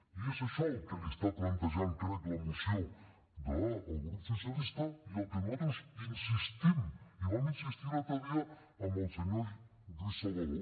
i és això el que li està plantejant crec la moció del grup socialista i en el que nosaltres insistim i vam insistir l’altre dia al senyor lluís salvadó